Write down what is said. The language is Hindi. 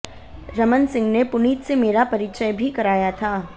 रमन सिंह ने पुनीत से मेरा परिचय भी कराया था